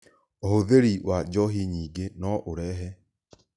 Ũhũthĩri wa njohi nyingĩ no ũrehe